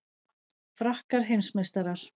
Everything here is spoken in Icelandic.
Frakkar heimsmeistarar